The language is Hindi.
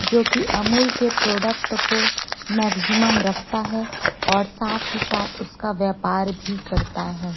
जोकि अमूल के प्रोडक्ट को मैक्जिमम रखता है और साथ ही साथ उसका व्यापार भी करता है।